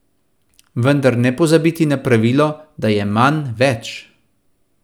Vendar ne pozabiti na pravilo, da je manj več!